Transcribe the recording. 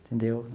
Entendeu?